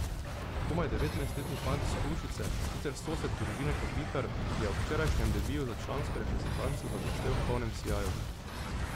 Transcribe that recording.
Komaj devetnajstletni fant s Hrušice, sicer sosed družine Kopitar, je ob včerajšnjem debiju za člansko reprezentanco zablestel v polnem sijaju.